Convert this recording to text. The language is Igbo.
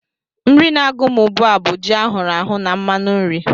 Nri na-agụ m ugbu a bụ ji ahụrụ ahụ na mmanụ nri